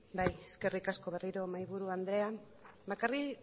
bai eskerrik asko berriro mahaiburu andrea bakarrik